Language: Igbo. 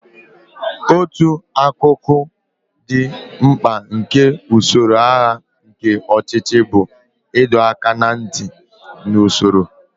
Otu akụkụ dị mkpa nke usoro agha nke ọchịchị bụ ịdọ aka ná ntị na usoro.